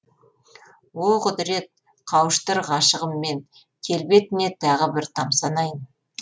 о құдірет қауыштыр ғашығыммен келбетіне тағы бір тамсанайын